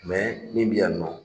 min bɛ yan nɔ